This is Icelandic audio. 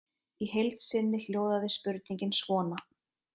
Í heild sinni hljóðaði spurningin svona: